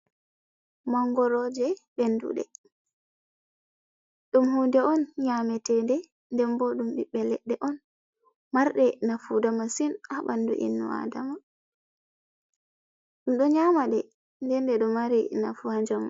Mangoroje menduɗe, dum hunde on nyametede, den boo ɗum biɓbe leɗɗe on, marɗe nafuu da masin ha ɓandu innu adama ɗo nyama de dende do mari nafu ha jamu.